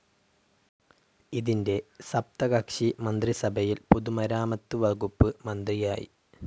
ഇതിൻ്റെ സപ്തകക്ഷി മന്ത്രിസഭയിൽ പൊതുമരാമത്തുവകുപ്പ് മന്ത്രിയായി.